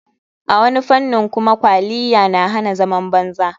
A wani fanin kuma kwaliyya na hana zaman banza.